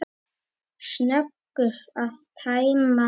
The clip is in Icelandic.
Snöggur að tæma það.